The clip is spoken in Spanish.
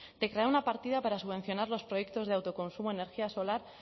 de crear una partida para subvencionar los proyectos de autoconsumo energía solar